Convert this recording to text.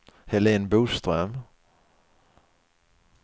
Helene Boström